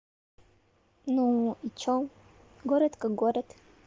ну и что город как город